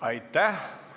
Aitäh!